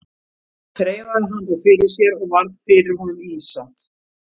Þreifaði hann þá fyrir sér og varð fyrir honum ýsa.